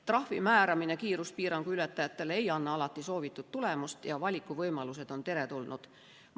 Trahvi määramine kiiruspiirangu ületajatele ei anna alati soovitud tulemust ja valikuvõimalused on teretulnud.